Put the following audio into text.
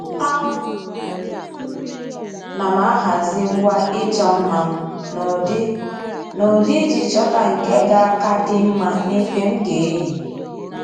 À nà m ahazị ngwa ịchọ mma m n’ụ́dị́ n'ụdị iji chọ́ta nke ga aka dị mma n'efe m ga-eyi